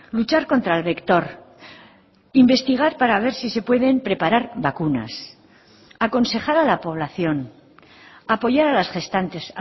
luchar contra el vector investigar para haber si se pueden preparar vacunas aconsejar a la población apoyar a las gestantes